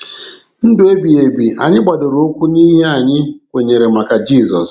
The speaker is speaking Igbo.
Ndụ ebighi ebi anyị gbadoro ụkwụ n'ihe anyị kwenyere maka Jizọs.